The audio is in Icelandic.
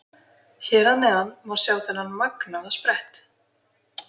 Hér að neðan má sjá þennan magnaða sprett.